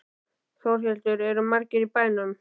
Þórhildur, eru margir í bænum?